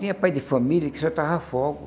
Tinha pai de família que soltava fogo.